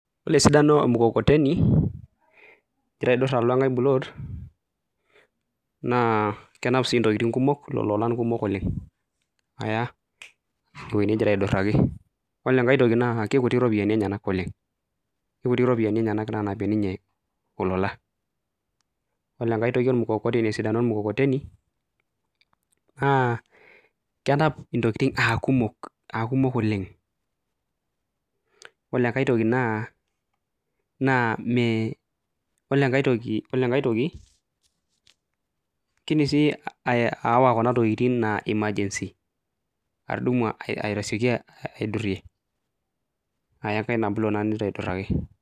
Yiolo esidano e mukokoteni ing'ira aidur alo enkae pulot naa kenap sii intokitin kumok lolo olan kumok oleng' aya ewuei ningira aiduraki. Yiolo enkae toki naa kekutik iropiani enyenak oleng', kekutik iropiani enyenak naanapie ninye olola, yiolo enkae toki esidano ormukokoteni naa kenap intokitin aa kumok aa kumok oleng'. Yiolo enkae toki naa naa me ole enkae toki yiolo enkae toki kiidim sii ayawa kuna tokitin naa emergency atudumu ai aitasioki aidurie aya enkae ina pulot naa ning'ira aiduraki.